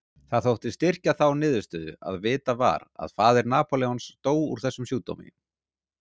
Það þótti styrkja þá niðurstöðu að vitað var að faðir Napóleons dó úr þessum sjúkdómi.